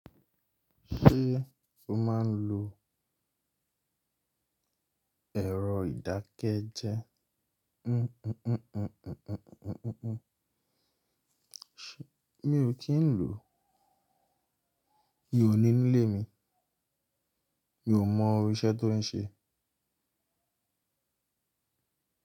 Ṣé o máa ń lo èrọ ìdákẹ́jẹ? Mi ò kí ń lò, mi ò ní nílé mi, mi ò mọ irú iṣẹ́ tó ń ṣe.